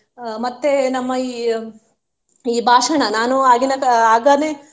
ಅಹ್ ಮತ್ತೆ ನಮ್ಮ ಈ ಈ ಭಾಷಣ ನಾನು ಆಗಿನ ಕಾ~ ಆಗನೆ.